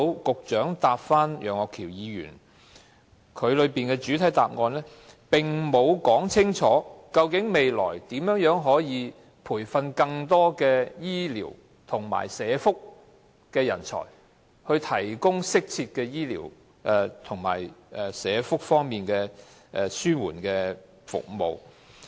局長就楊岳橋議員的質詢所作的主體答覆沒有說明未來如何培訓更多醫療和社福人才，以提供適切的醫療及社福方面的紓緩治療服務。